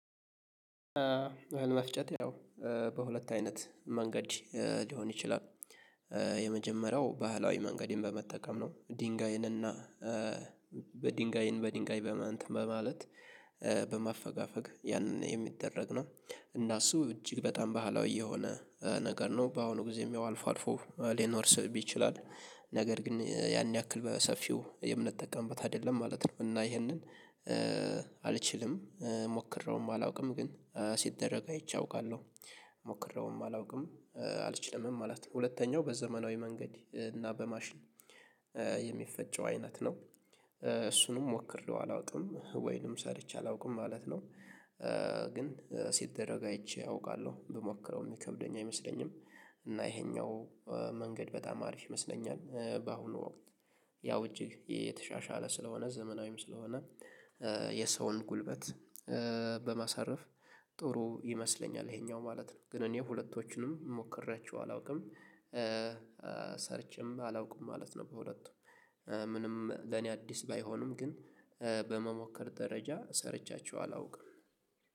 አህል መፍጨት ያው በሁለት አይነት መንገድ ሊሆን ይችላል። የመጀመሪያው ባህላዊ መንገድን በመጠቀም ነው ድንጋይን እና በድንጋይን በድንጋይ እንትን በማለት በማፈጋፈግ ያንን የሚደረግ ነው። እና እሱ እጅግ በጣም ባህላዊ የሆነ ነገር ነው። በአሁኑ ጊዜም ያው አልፎ አልፎ ሊኖር ስብ ይችላል። ነገር ግን ያን ያክል በሰፊው የምንጠቀምበት አይደለም ማለት ነው። እና ይሄንን አልችልም ሞክሬውም አላውቅም ግን ሲደረግ አይቼ አውቃለሁ ሞክሬውም አላውቅም አልችልምም ማለት ነው። ሁለተኛው በዘመናዊ መንገድ እና በማሽን የሚፈጨው አይነት ነው እሱንም ሞክሬው አላውቅም ወይንም ሰርቼ አላውቅም ማለት ነው። ግን ሲደረግ አይቼ አውቃለሁ ብሞክረው የሚከብደኝ አይመስለኝም እና ይሄኛው መንገድ በጣም አሪፍ ይመስለኛል። በአሁኑ ወቅት ያው እጅግ የተሻሻለ ስለሆነ ዘመናዊም ስለሆነ የሰውን ጉልበት በማሳረፍ ጥሩ ይመስለኛል ይሄኛው ማለት ነው። ግን እኔ ሁለቶቹንም ሞክሬያቸው አላውቅም ሰርችም አላውቅም ማለት ነው። በሁለቱም ምንም ለኔ አዲስ ባይሆንም ግን በመሞከር ደረጃ ሰርቻቸው አላውቅም።